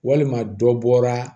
Walima dɔ bɔra